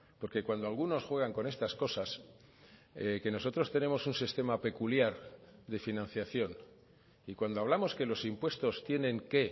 porque cuando algunos juegan con estas cosas que nosotros tenemos un sistema peculiar de financiación y cuando hablamos que los impuestos tienen que